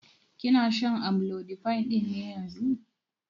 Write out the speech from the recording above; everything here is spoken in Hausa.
Kina shan amlodipine ɗin ne yanzun?